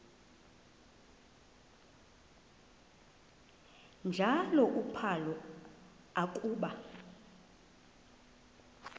njalo uphalo akuba